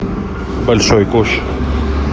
большой куш